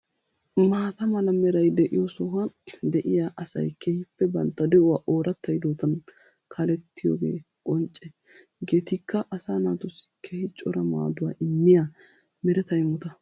Maata mala meeray de'iyo sohuwan de'yaa asay keehippe bantta de'uwa oratta hiddottan kaalettiyooge qonche. Hegeetikka asa naatussi keehi cora maadduwaa immiya mereta immota.